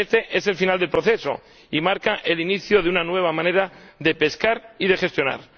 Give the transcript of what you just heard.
Este es el final del proceso y marca el inicio de una nueva manera de pescar y de gestionar.